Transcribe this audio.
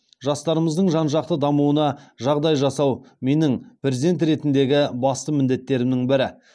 жастарымыздың жан жақты дамуына жағдай жасау менің президент ретіндегі басты міндеттерімнің бірі